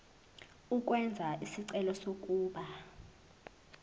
ukwenza isicelo sokuba